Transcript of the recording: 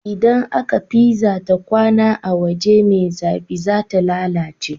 Idan aka pizza ta kwAna a waje me zafi zata lalace